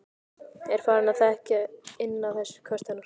Er farin að þekkja inn á þessi köst hennar.